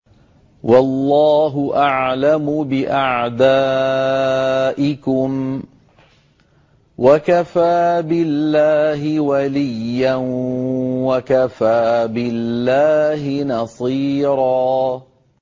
وَاللَّهُ أَعْلَمُ بِأَعْدَائِكُمْ ۚ وَكَفَىٰ بِاللَّهِ وَلِيًّا وَكَفَىٰ بِاللَّهِ نَصِيرًا